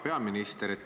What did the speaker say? Hea peaminister!